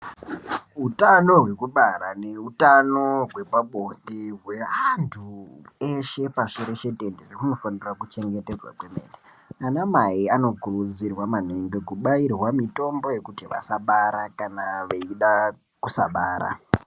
Utano hwekubara neutano hwepabonde hweantu eshe pashitenderere unofanira kuchengetedzwa kwemene .Anamai vanokurudzirwa maningi kubairwa mitombo yekuti vasabara vechida kusabara.